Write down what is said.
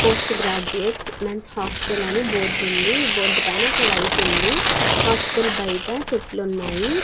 Post graduates men's hostel అని board ఉంది. Board పైన ఒక లైట్ ఉంది. హాస్టల్ బయట చెట్లు ఉన్నాయి.